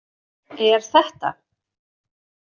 Er þetta.